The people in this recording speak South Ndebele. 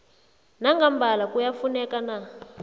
nangambala kuyafuneka na